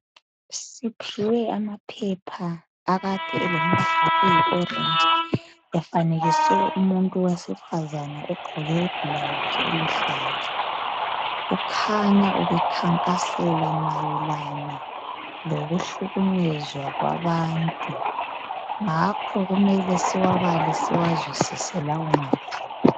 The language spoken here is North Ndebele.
Siphiwe amaphepha akade elombala oyi "orange" efanekiswe umuntu owesifazane ogqoke i"blouse" eluhlaza .Kukhanya ubekhankasela mayelana lokuhlukunyezwa kwabantu ngakho kumele siwabale siwazwisise lawo maphepha.